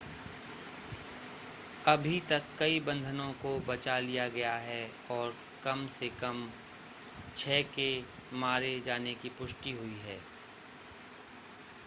अभी तक कई बंधकों को बचा लिया गया है और कम से कम छह के मारे जाने की पुष्टि हुई है